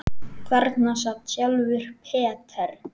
Þarna sat sjálfur Peter